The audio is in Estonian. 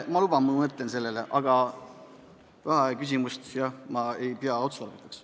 Ma luban, et ma mõtlen sellele, aga vaheaja võtmist ma ei pea otstarbekaks.